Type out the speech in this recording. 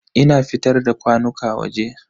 Ina fitar da kwanuka waje.